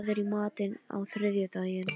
Tryggva, hvað er í matinn á þriðjudaginn?